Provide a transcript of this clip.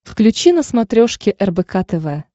включи на смотрешке рбк тв